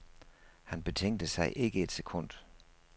Han betænkte sig ikke et sekund.